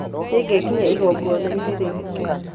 Nĩngekinyia igongona-inĩ rĩu.